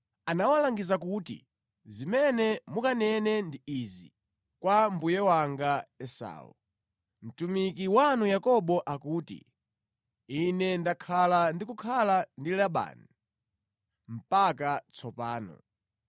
Anawalangiza kuti, “Zimene mukanene ndi izi kwa mbuye wanga Esau: ‘Mtumiki wanu Yakobo akuti, Ine ndakhala ndi kukhala ndi Labani mpaka tsopano.